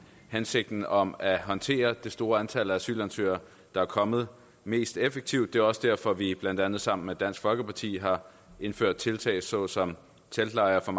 hensigten om at håndtere det store antal af asylansøgere der er kommet mest effektivt og det er også derfor at vi blandt andet sammen med dansk folkeparti har indført tiltag såsom teltlejre